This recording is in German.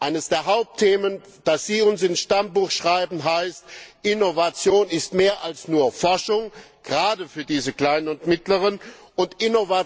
Eines der Hauptthemen, das sie uns ins Stammbuch schreiben, heißt Innovation ist mehr als nur Forschung, gerade für diese kleinen und mittleren Unternehmen.